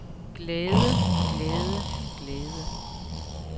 glæde glæde glæde